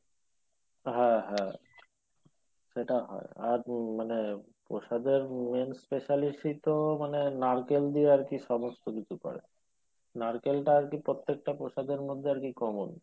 হ্যাঁ হ্যাঁ সেটা হয় আর মানে প্রসাদের main মানে নারকেল দিয়ে আরকি সমস্ত কিছু করে নারকেলটা আরকি প্রত্যেকটা প্রসাদের মধ্যে আরকি common